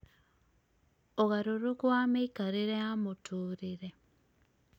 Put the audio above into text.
ũgarũrũku wa mĩikarĩre ya mũtũũrĩre